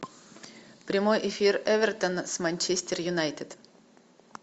прямой эфир эвертон с манчестер юнайтед